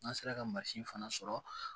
N'an sera ka mansin fana sɔrɔ